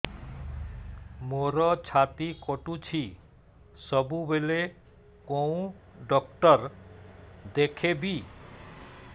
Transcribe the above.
ମୋର ଛାତି କଟୁଛି ସବୁବେଳେ କୋଉ ଡକ୍ଟର ଦେଖେବି